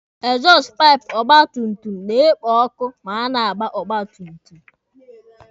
Ekzọstụ paịpụ ọgba tum tum na-ekpo ọkụ ma a na-agba ọgba tum tum.